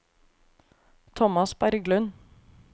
Tomas Berglund